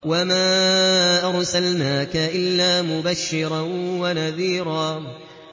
وَمَا أَرْسَلْنَاكَ إِلَّا مُبَشِّرًا وَنَذِيرًا